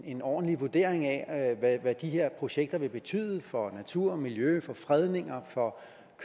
en ordentlig vurdering af af hvad de her projekter vil betyde for natur og miljø for fredninger for